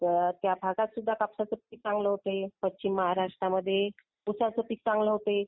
तर त्या भागात सुद्धा कापसाचे पीक चांगलं होते. पश्चिम महाराष्ट्र मध्ये उसाच पीक चांगलं होते.